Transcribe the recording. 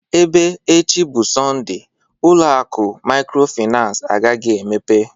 Ebe echi bụ Sọnde, ụlọ akụ maykrofinans agaghị emepe